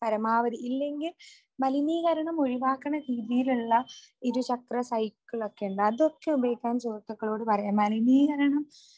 പരമാവധി ഇല്ലെങ്കിൽ മലിനീകരണം ഒഴിവാക്കണ രീതിയിലുള്ള ഇരുചക്ര സൈക്കിളൊക്കെ ഉണ്ട് അതൊക്കെ ഉപയോഗിക്കാൻ സുഹൃത്തുക്കളോട് പറയണം. മലിനീകരണം